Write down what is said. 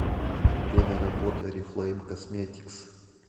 время работы орифлэйм косметикс